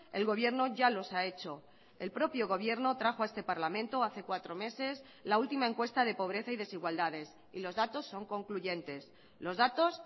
el gobierno ya los ha hecho el propio gobierno trajo a este parlamento hace cuatro meses la última encuesta de pobreza y desigualdades y los datos son concluyentes los datos